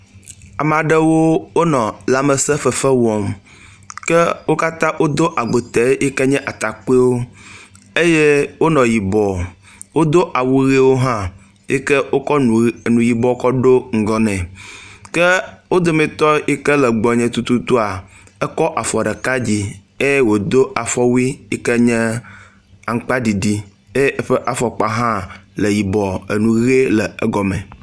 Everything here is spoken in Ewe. Ame aɖewo wonɔ lamesẽ fefe wɔm ke wo katã wodo agbote yi ke nye atakpuiwo eye wonɔ yibɔ, wodo awu ʋiwo hã yi ke wokɔ nu yibɔ kɔ ɖonugbɔ nɛ, ke wo dometɔ yi ke le gbɔnye tututua, ekɔ afɔ ɖeka dzi eye wodo afɔwui yi ke nye amakpaɖiɖi eye eƒe afɔkpa ha le yibɔ nu ʋe le egɔme.